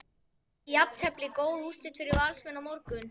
Yrði jafntefli góð úrslit fyrir Valsmenn á morgun?